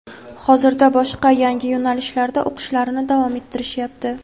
Hozirda boshqa yangi yo‘nalishlarda o‘qishlarini davom ettirishyapti.